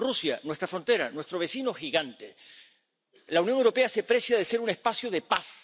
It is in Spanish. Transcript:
Rusia, nuestra frontera, nuestro vecino gigante. La Unión Europea se precia de ser un espacio de paz.